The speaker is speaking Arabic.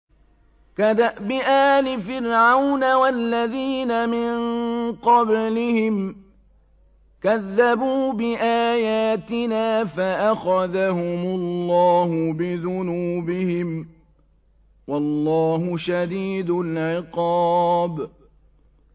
كَدَأْبِ آلِ فِرْعَوْنَ وَالَّذِينَ مِن قَبْلِهِمْ ۚ كَذَّبُوا بِآيَاتِنَا فَأَخَذَهُمُ اللَّهُ بِذُنُوبِهِمْ ۗ وَاللَّهُ شَدِيدُ الْعِقَابِ